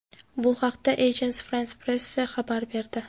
Bu haqda Agence France-Presse xabar berdi .